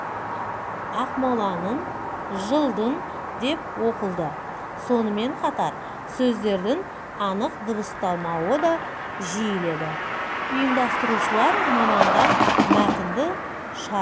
ақмоланын жылдын деп оқылды сонымен қатар сөздердің анық дыбысталмауы да жиіледі ұйымдастырушылар маманға мәтінді шара